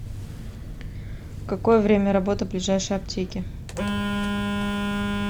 какое время работы ближайшей аптеки